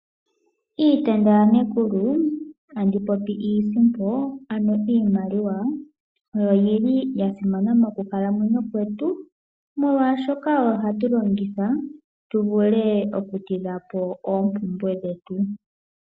Iitenda yanekulu andi popi iisimpo ano iimaliwa. Oyi li yasimana mokukalamwenyo kwetu molwashoka oyo hatu longitha tu vule oku tidha po ompumbwe dhetu.